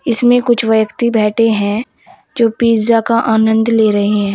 इसमें कुछ व्यक्ति बैठे हैं जो पिज़्ज़ा का आनंद ले रहे हैं।